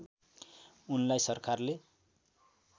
उनलाई सरकारले